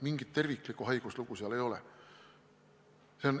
Mingit terviklikku haiguslugu seal ei ole.